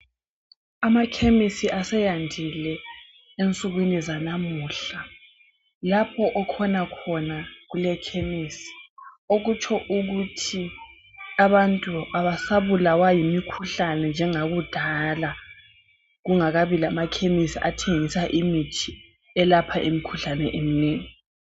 Amakhemisi aseyandile ensukwini zalamuhla lapho okhona khona kule khemisi okutsho ukuthi abantu abasabulaya yimikhuhlane njengakudlala kungakabi lama khemisi athengisa imithi elapha imikhuhlane eminengi